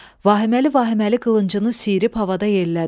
Vahiməli-vahiməli qılıncını siyirib havada yellədi.